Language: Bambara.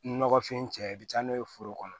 Nɔgɔfin cɛ i bi taa n'o ye foro kɔnɔ